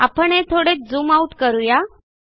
आपण हे थोडे झूम आउट करू या